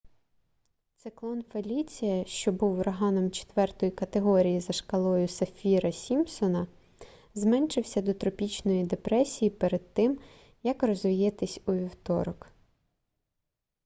циклон феліція що був ураганом 4 категорії за шкалою саффіра-сімпсона зменшився до тропічної депресії перед тим як розвіятись у вівторок